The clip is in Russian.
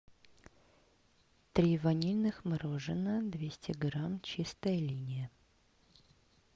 три ванильных мороженых двести грамм чистая линия